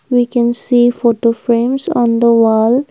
we can see photo frames on the wall.